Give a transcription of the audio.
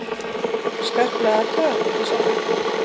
Skarplega athugað, ekki satt?